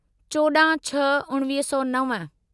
चोॾाहं छह उणिवीह सौ नव